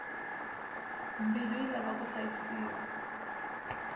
mbilu yi lava ku hlayisiwa